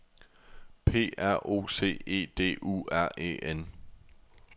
P R O C E D U R E N